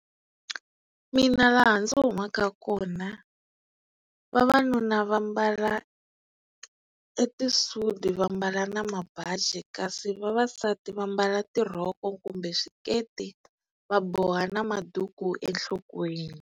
Mina laha ndzi humaka kona vavanuna va mbala e tisudi va mbala na mabaji kasi vavasati va mbala tirhoko kumbe xiketi va boha ni maduku enhlokweni.